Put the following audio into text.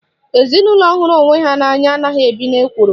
Ezinaụlọ hụrụ onwe ha n'anya anaghị ebi n'ekworo